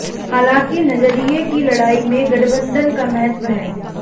हालांकि नजरिये की लड़ाई में गठबंधन का महत्व है